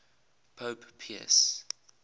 pope pius